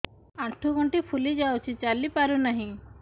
ଆଂଠୁ ଗଂଠି ଫୁଲି ଯାଉଛି ଚାଲି ପାରୁ ନାହିଁ